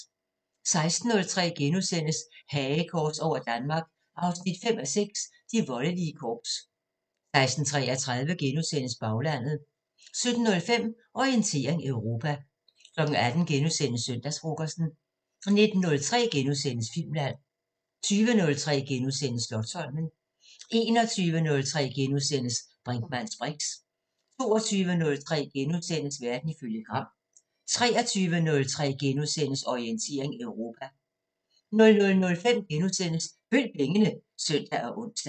16:03: Hagekors over Danmark 5:6 – De voldelige korps * 16:33: Baglandet * 17:05: Orientering Europa 18:03: Søndagsfrokosten * 19:03: Filmland * 20:03: Slotsholmen * 21:03: Brinkmanns briks * 22:03: Verden ifølge Gram * 23:03: Orientering Europa * 00:05: Følg pengene *(søn og ons)